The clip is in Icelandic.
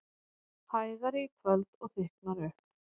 Hægari í kvöld og þykknar upp